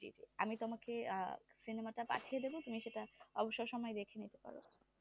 জি জি আমি তোমাকে আহ cinema টা পাঠিয়ে দিবো তুমি সেটা অবসর সময়ে দেখে নিতে পারো